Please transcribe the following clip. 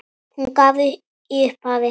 Hún gaf í upphafi